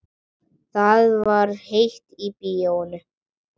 Það var heitt í bíóinu.